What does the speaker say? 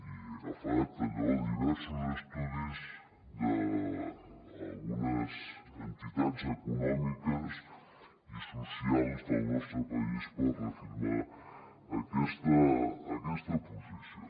i he agafat allò diversos estudis d’algunes entitats econòmiques i socials del nostre país per reafirmar aquesta posició